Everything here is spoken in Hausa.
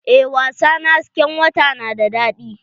Eh wasa na hasken wata na da daɗi.